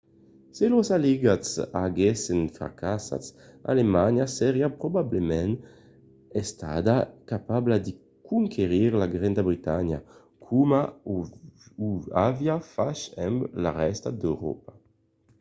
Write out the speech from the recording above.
se los aliats aguèssen fracassat alemanha seriá probablament estada capabla de conquerir la granda bretanha coma o aviá fach amb la rèsta d’euròpa